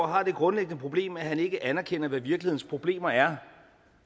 har det grundlæggende problem at han ikke anerkender hvad virkelighedens problemer er